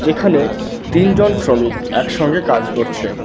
যেখানে তিনজন শ্রমিক একসঙ্গে কাজ করছে।